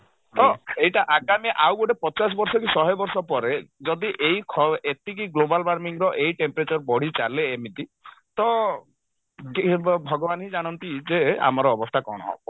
ତ ଏଇଟା ଆଗାମୀ ଆଉ ଗୋଟେ ପଚାଶ ବର୍ଷ କି ଶହେ ବର୍ଷ ପରେ ଯଦି ଏଇ ଖ ଏତିକି global warming ର ଏଇ temperature ବଢି ଚାଲେ ଏମିତି ତ ଭଗବାନ ହିଁ ଜାଣନ୍ତି ଯେ ଆମର ଅବସ୍ଥା କଣ ହବ